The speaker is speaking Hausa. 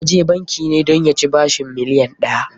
Ya je banki ne dan ya ci bashin miliyon ɗaya.